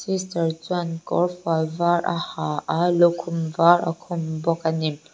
sister chuan kawrfual var a ha a lukhum var a khum bawk a ni.